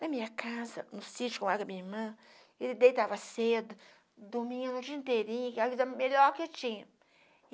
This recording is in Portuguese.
Na minha casa, no sítio que eu moro com a minha irmã, ele deitava cedo, dormia o dia inteirinho, que era a vida melhor que tinha.